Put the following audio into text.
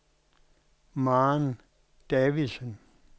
Maren Davidsen